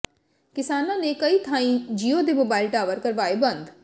ਕਿਸਾਨਾਂ ਨੇ ਕਈ ਥਾਈਂ ਜੀਓ ਦੇ ਮੋਬਾਈਲ ਟਾਵਰ ਕਰਵਾਏ ਬੰਦ